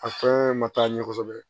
A fɛn ma taa ɲɛ kosɛbɛ